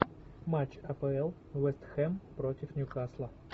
матч апл вест хэм против ньюкасла